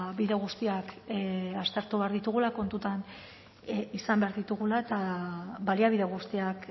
bide guztiak aztertu behar ditugula kontutan izan behar ditugula eta baliabide guztiak